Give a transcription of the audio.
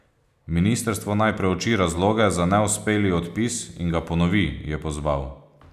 Ministrstvo naj preuči razloge za neuspeli odpis in ga ponovi, je pozval.